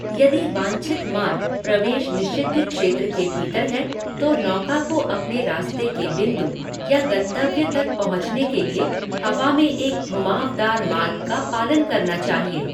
यदि वांछित मार्ग प्रवेश निषिद्ध क्षेत्र के भीतर है, तो नौका को अपने रास्ते के बिंदु या गंतव्य तक पहुँचने के लिए हवा में एक घुमावदार मार्ग का पालन करना चाहिए।